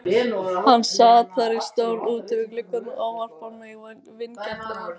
Hann sat þar í stól úti við gluggann og ávarpar mig vingjarnlega.